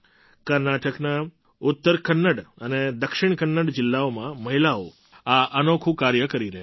કર્ણાટકના ઉત્તર કન્નડ અને દક્ષિણ કન્નડ જિલ્લાઓમાં મહિલાઓ આ અનોખું કાર્ય કરી રહી છે